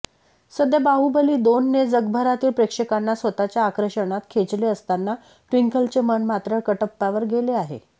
सध्या बाहुबली दोनने जगभरातील प्रेक्षकांना स्वतःच्या आकर्षणात खेचले असताना ट्विंकलचे मन मात्र कटप्पावर गेले आहे